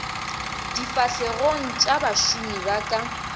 difahlegong tša bašomi ba ka